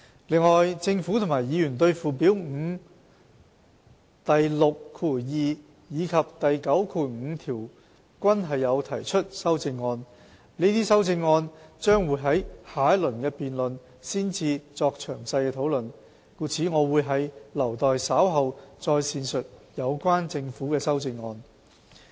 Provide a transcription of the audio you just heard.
另外，政府及議員對附表5第62及95條均有提出修正案，這些修正案將會在下一輪辯論才作詳細討論，故我會留待稍後再闡述有關的政府修正案。